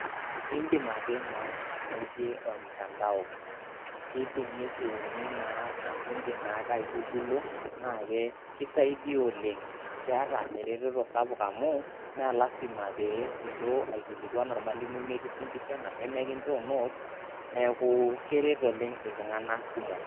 Indim ake naa ainotie ormutandao kidim niriuni naa anashe indim naake aigogulo naake kisaidia oleng'. Keeta ereteto sapuk amu me lasima pee ilo aikilikuan ormalimui mekifundisha anashe mekinjoo notes, neeku keret oleng' iltung'anak kumok.